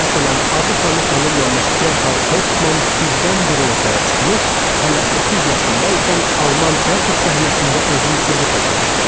Məsələn, adı sanı tanınmamış Gerhart Hoptman birdən-birə ortaya çıxmış, hələ 30 yaşında ikən Alman teatr səhnəsində özünü sübut etmişdi.